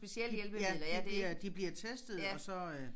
De ja de de bliver testede og så øh